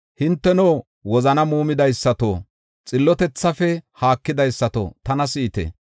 Hinteno wozani muumidaysato, xillotethafe haakidaysato tana si7ite.